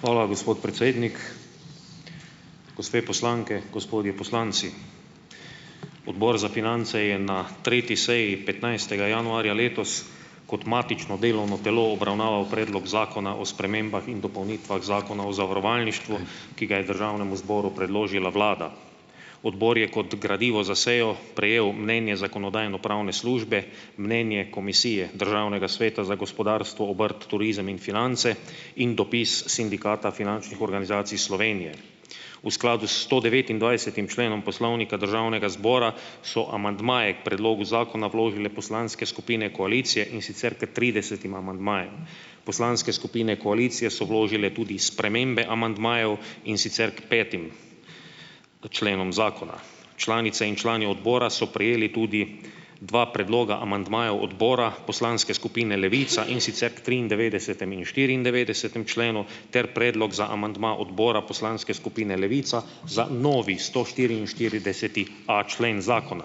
Hvala, gospod predsednik. Gospe poslanke, gospodje poslanci. Odbor za finance je na tretji seji petnajstega januarja letos kot matično delovno telo obravnaval predlog Zakona o spremembah in dopolnitvah Zakona o zavarovalništvu, ki ga je državnemu zboru predložila vlada. Odbor je kot gradivo za sejo prejel mnenje zakonodajno-pravne službe, mnenje Komisije Državnega sveta za gospodarstvo, obrt, turizem in finance in dopis Sindikata finančnih organizacij Slovenije. V skladu s sto devetindvajsetim členom Poslovnika Državnega zbora so amandmaje k predlogu Zakona vložile poslanske skupine koalicije, in sicer pri tridesetim amandmaju. Poslanske skupine koalicije so vložile tudi spremembe amandmajev, in sicer k petim členom zakona. Članice in člani odbora so prejeli tudi dva predloga amandmajev odbora poslanske skupine Levica, in sicer k triindevetdesetemu in štiriindevetdesetemu členu ter predlog za amandma odbora poslanske skupine Levica za novi stoštiriinštirideseti a člen zakona.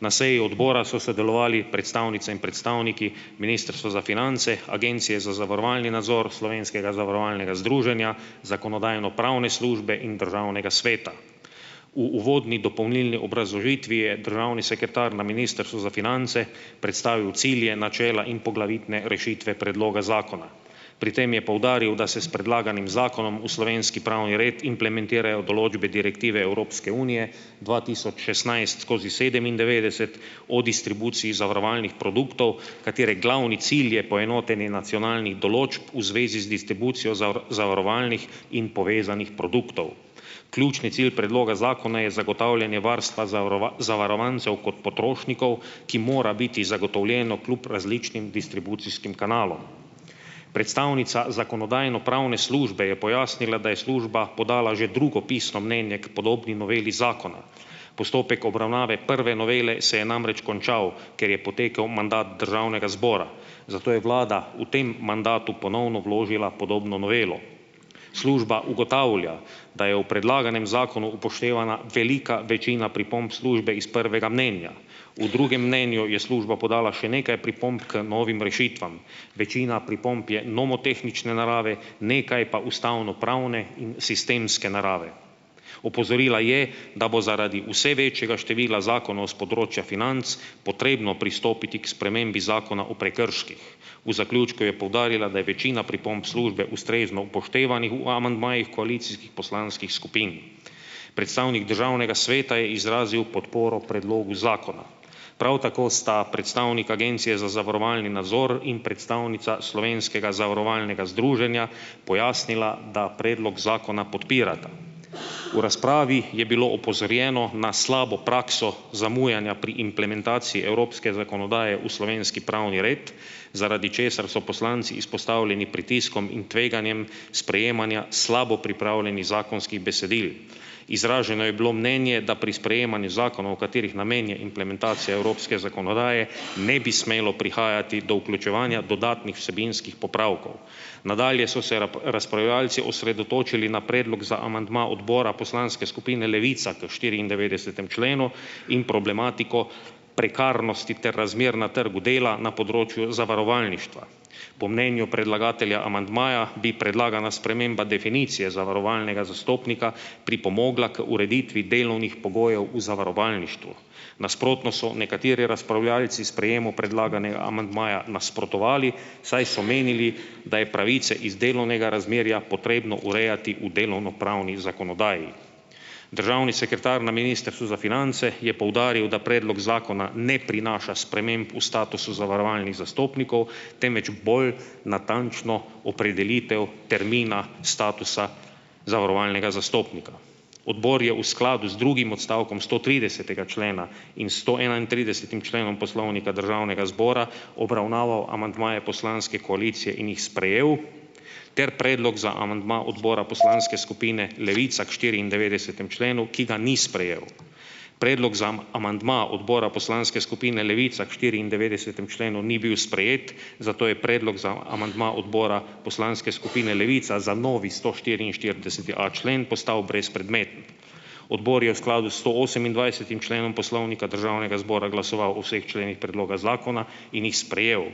Na seji odbora so sodelovali predstavnice in predstavniki Ministrstva za finance, Agencije za zavarovalni nadzor, Slovenskega zavarovalnega združenja, zakonodajno-pravne službe in državnega sveta. V uvodni dopolnilni razložitvi je državni sekretar na Ministrstvu za finance predstavil cilje, načela in poglavitne rešitve predloga zakona. Pri tem je poudaril, da se s predlaganim zakonom v slovenski pravni red implementirajo določbe Direktive Evropske unije dva tisoč šestnajst skozi sedemindevetdeset o distribuciji zavarovalnih produktov, katere glavni cilj je poenotenje nacionalnih določb v zvezi z distribucijo zavarovalnih in povezanih produktov. Ključni cilj predloga zakona je zagotavljanje varstva zavarovancev kot potrošnikov, ki mora biti zagotovljeno kljub različnim distribucijskim kanalom. Predstavnica zakonodajno-pravne službe je pojasnila, da je služba podala že drugo pisno mnenje k podobni noveli zakona. Postopek obravnave prve novele se je namreč končal, ker je potekel mandat državnega zbora, zato je vlada v tem mandatu ponovno vložila podobno novelo. Služba ugotavlja, da je v predlaganem zakonu upoštevana velika večina pripomb službe iz prvega mnenja. V drugem mnenju je služba podala še nekaj pripomb k novim rešitvam. Večina pripomb je nomotehnične narave, nekaj pa ustavnopravne in sistemske narave. Opozorila je, da bo zaradi vse večjega števila zakonov s področja financ potrebno pristopiti k spremembi Zakona o prekrških. V zaključku je poudarila, da je večina pripomb službe ustrezno upoštevanih v amandmajih koalicijskih poslanskih skupin. Predstavnik Državnega sveta je izrazil podporo predlogu zakona. Prav tako sta predstavnik Agencije za zavarovalni nadzor in predstavnica Slovenskega zavarovalnega združenja pojasnila, da predlog zakona podpirata. V razpravi je bilo opozorjeno na slabo prakso zamujanja pri implementaciji evropske zakonodaje v slovenski pravni red, zaradi česar so poslanci izpostavljeni pritiskom in tveganjem sprejemanja slabo pripravljenih zakonskih besedil. Izraženo je bilo mnenje, da pri sprejemanju zakonov, katerih namen je implementacija evropske zakonodaje, ne bi smelo prihajati do vključevanja dodatnih vsebinskih popravkov. Nadalje so se razpravljavci osredotočili na predlog za amandma odbora poslanske skupine Levica k štiriindevetdesetemu členu in problematiko prekarnosti ter razmer na trgu dela na področju zavarovalništva. Po mnenju predlagatelja amandmaja bi predlagana sprememba definicije zavarovalnega zastopnika pripomogla k ureditvi delovnih pogojev v zavarovalništvu. Nasprotno so nekateri razpravljavci sprejemu predlaganega amandmaja nasprotovali, saj so menili, da je pravice iz delovnega razmerja potrebno urejati v delovnopravni zakonodaji. Državni sekretar na Ministrstvu za finance je poudaril, da predlog zakona ne prinaša sprememb v statusu zavarovalnih zastopnikov, temveč bolj natančno opredelitev termina statusa zavarovalnega zastopnika. Odbor je v skladu z drugim odstavkom stotridesetega člena in stoenaintridesetim členom Poslovnika Državnega zbora obravnaval amandmaje poslanske koalicije in jih sprejel ter predlog za amandma odbora poslanske skupine Levica k štiriindevetdesetemu členu, ki ga ni sprejel. Predlog za amandma odbora poslanske skupine Levica k štiriindevetdesetemu členu ni bil sprejet, zato je predlog za amandma odbora poslanske skupine Levica za novi stoštiriinštirideseti a člen postal brezpredmeten. Odbor je v skladu stoosemindvajsetim členom Poslovnika Državnega zbora glasoval o vseh členih predloga zakona in jih sprejel.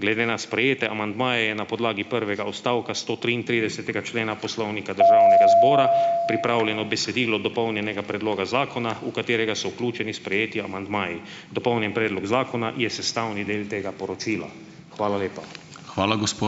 Glede na sprejete amandmaje je na podlagi prvega odstavka stotriintridesetega člena Poslovnika Državnega zbora pripravljeno besedilo dopolnjenega predloga zakona, v katerega so vključeni sprejeti amandmaji. Dopolnjen predlog zakona je sestavni del tega poročila. Hvala lepa. Hvala ...